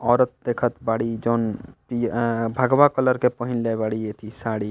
औरत देखत बारी जोन इ अ भगवा कलर के पहिनले बारी एथी साड़ी।